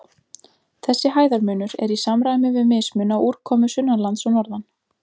Þessi hæðarmunur er í samræmi við mismun á úrkomu sunnanlands og norðan.